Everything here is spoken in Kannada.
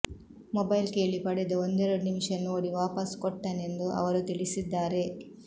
ಮೊಬೈಲ್ ಕೇಳಿ ಪಡೆದು ಒಂದೆರಡು ನಿಮಿಷ ನೋಡಿ ವಾಪಸ್ ಕೊಟ್ಟನೆಂದು ಅವರು ತಿಳಿಸಿದ್ದಾರೆ